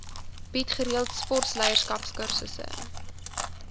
bied gereeld sportleierskapskursusse